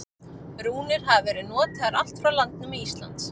Rúnir hafa verið notaðar allt frá landnámi Íslands.